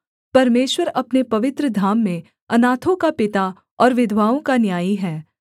परमेश्वर अपने पवित्र धाम में अनाथों का पिता और विधवाओं का न्यायी है